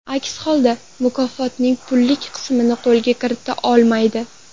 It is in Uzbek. Aks holda, mukofotning pullik qismini qo‘lga kirita olmaydi.